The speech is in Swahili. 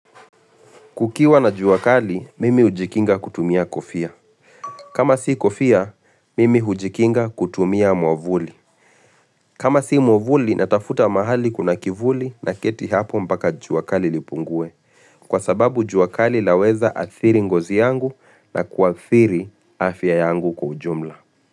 Kukiwa na jua kali, mimi hujikinga kutumia kofia. Kama si kofia, mimi hujikinga kutumia mwavuli. Kama si mwavuli, natafuta mahali kuna kivuli na keti hapo mpaka juakali lipungue. Kwa sababu juakali laweza athiri ngozi yangu na kuathiri afya yangu ujumla.